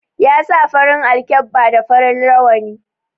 Ya sa farin alkkeba da farin rawani